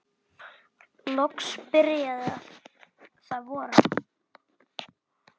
Loks byrjaði að vora.